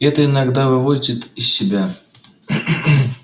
это иногда выводит из себя